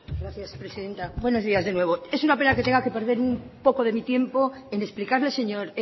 gracias presidenta buenos días de nuevo es una pena que tenga que perder un poco de mi tiempo en explicarle señor